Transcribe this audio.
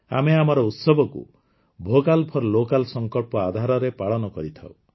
ଆମେ ଆମର ଉତ୍ସବକୁ ଭୋକାଲ ଫୋର ଲୋକାଲ ଆଧାରରେ ପାଳନ କରିଥାଉ